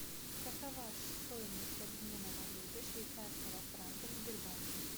какова стоимость обмена валюты швейцарского франка в сбербанке